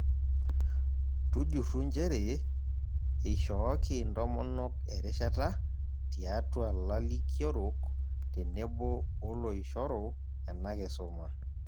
Tujurru nchere eishooki ntomonok erishsta tiatua lalikiorok tenebo oloishoru ena kisuma.